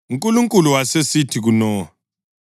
UNkulunkulu wasesithi kuNowa,